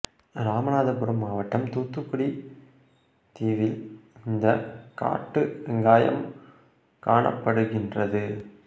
ராமநாதபுரம் மாவட்டம் தூத்துக்குடி தீவில் இந்த காட்டு வெங்காயம் காணப்படுகின்றது